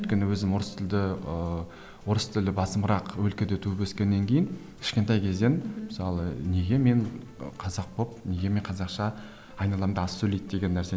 өйткені өзім орыс тілді ыыы орыс тілі басымырақ өлкеде туып өскеннен кейін кішкентай кезден мысалы неге мен қазақ болып неге мен қазақша айналамда аз сөйлейді деген нәрсе